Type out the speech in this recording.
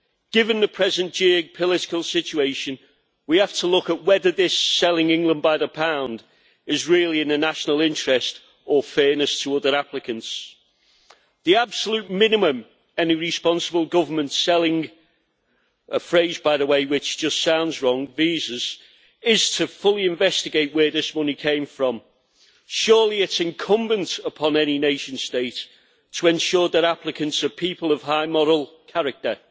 Given the present geo political situation, we have to look at whether this selling England by the pound is really in the national interest or fairness to other applicants. The absolute minimum any responsible government selling a phrase, by the way, which just sounds wrong visas is to fully investigate where this money came from. Surely it's incumbent upon any nation state to ensure that applicants are people of high moral character?